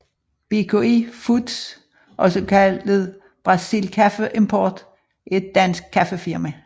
BKI foods også kaldet Brasil Kaffe Import er et dansk kaffefirma